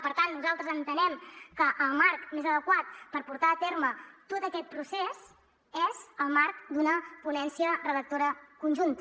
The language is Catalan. per tant nosaltres entenem que el marc més adequat per portar a terme tot aquest procés és el marc d’una ponència redactora conjunta